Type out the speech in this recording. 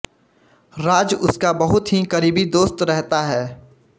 राज उसका बहुत ही करीबी दोस्त रहता है